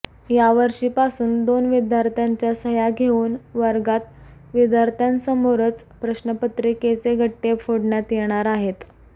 यावर्षीपासून दोन विद्यार्थ्यांच्या सह्या घेऊन वर्गात विद्यार्थ्यांसमोरच प्रश्नपत्रिकेचे गठ्ठे फोडण्यात येणार आहेत